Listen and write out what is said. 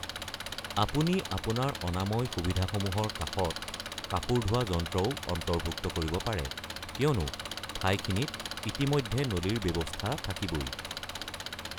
আপুনি আপোনাৰ অনাময় সুবিধাসমূহৰ কাষত কাপোৰ ধুৱা যন্ত্ৰও অন্তৰ্ভুক্ত কৰিব পাৰে, কিয়নো ঠাইখিনিত ইতিমধ্যে নলীৰ ব্যৱস্থা থাকিবই।